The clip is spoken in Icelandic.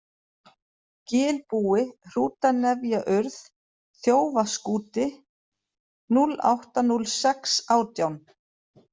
Gilbúi, Hrútanefjaurð, Þjófaskúti, 08.06.18